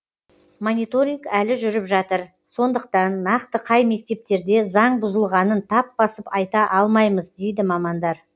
мониторинг әлі жүріп жатыр сондықтан нақты қай мектептерде заң бұзылғанын тап басып айта алмаймыз дейді мамандар